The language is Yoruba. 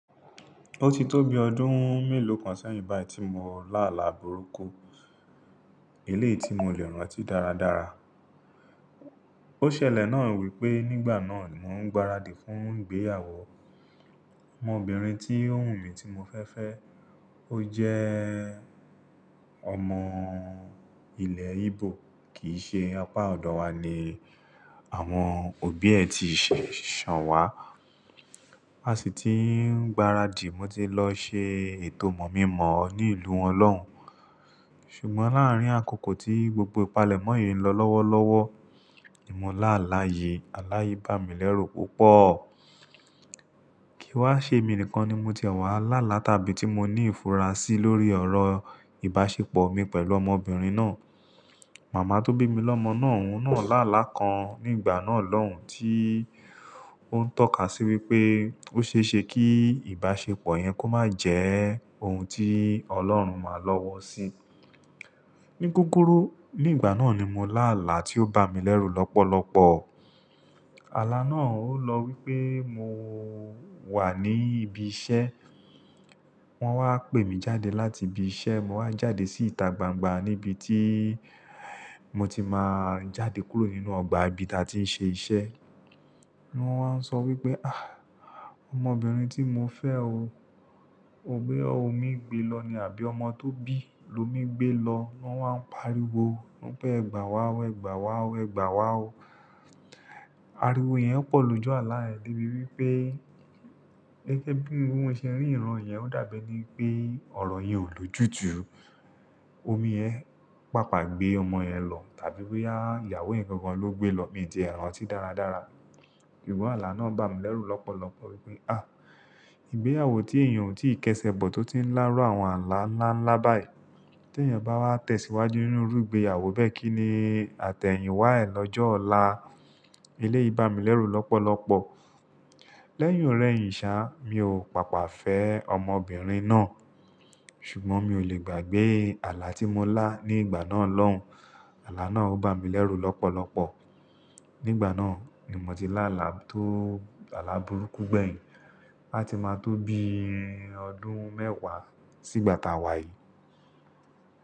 Ó ti tó bi ọdún mélòó kan sẹ́yìn báyìí tí mo lá àlà burúkú. Eléyìí tí mo lè rán ọ́ ti dáradára. Ó ṣẹlẹ̀ náà wípé nígbà náà mò ń gbaradì fún ìgbéyàwó ọmọbìnrin tí ò wú mi tí mo fẹ́ fẹ́. Ó jẹ́ ọmọ ilẹ̀ Igbo, kì í ṣe apá ọ̀dọ̀ wa ni àwọn òbí ẹ ti ṣẹ̀ ṣàn wá. A sì ti ń gbaradì, mo ti lọ ṣe ètò mọ̀-mí-mọ̀-ọ́ ní ìlú won lọ́hun. Ṣùgbọ́n láàárín àkókò tí gbogbo ìpalẹ̀mọ́ yìí ń lọ lọ́wọ́lọ́wọ́, nì mo láàlá yìí, àlá yi bá mi lẹ́rù púpọ̀. Kìí wa ṣé mi nìkan ni mo tiẹ̀ wà láàlá tàbí tí mo ní ìfura sí lórí ọ̀rọ̀ ìbáṣepọ̀ mi pẹ̀lú ọmọbìnrin náà. Màmá tó bí mi lọ́mọ náà òun náà lá àlà kan nígbà náà lọ́hùn tí ó ń tọ́ka sí wípé ó ṣe é ṣe kí ìbáṣepọ̀ yẹn kó má jẹ́ ohun tí Ọlọ́run máa lọ́wọ́ sí. Ní kúkúrú nígbà náà ni mo lá àlà tí ó bá mi lẹ́rù lọ́pọ̀lọ́pọ̀. Àlà náà ó lọ wípé mo wà ní ibi iṣẹ́, wọ́n wá pè mí jáde láti ibi iṣẹ́, mo wá jáde sí ìta gbangba níbi tí mo ti máa ń jáde kúrò nínú ọgbà ibi tí a ti ń ṣe iṣẹ́. Wọn wá ń sọ wípé, "Àh! Ọmọbìnrin tí mo fẹ́ o, ò boya ọmi gbé lọ ní àbí ọmọ tó bí lómi gbé lọ?" Wọn wá ń pariwo, wípé "Ẹ̀gbà wa o, ẹ̀gbà wa o, ẹ̀gbà wa o." Ariwo yẹn pọ̀ lójú àlà yẹn débi wípé gẹ́gẹ́ bí ohun bì mo ṣe ri ìran yẹn ó dàbí ení pé ọ̀rọ̀ yẹn ò lòjùtù. Omi yẹn pápà gbé ọmọ yẹn lọ tàbí boyà ìyàwó yẹn gangan ló gbé lọ, mi ti ẹ rantí dáradára. Sugbọn àlà náà bá mi lẹ́rù lọ́pọ̀lọ́pọ̀ wípé, "Àh! Ìgbéyàwó ti èèyàn o tí ìkẹsẹ̀ bọ̀ tó ti ń ńlá rú àwọn àlà ńlá ńlá báyìí. Tí èèyàn bá wá tẹ̀síwájú nínú irú ìgbéyàwó bẹ́ẹ̀ kí ni àtẹ̀yìn wá ẹ lọ́jọ́ ọ̀la?" Eléyìí bá mi lẹ́rù lọ́pọ̀lọ́pọ̀. Lẹ́yìn ọ̀rẹ́ yìn sá, mi ò pàpà fẹ́ ọmọbìnrin náà. Ṣùgbọ́n mi ò lè gbàgbé àlà tí mo lá nígbà náà lọ́hùn. Àlà náà ó bá mi lẹ́rù lọ́pọ̀lọ́pọ̀. Nígbà náà ni mo ti lá àlà tó àlà burúkú gbẹ̀yìn. A ti máa tó bí ọdún mẹ́wàá sígbàta wà yìí.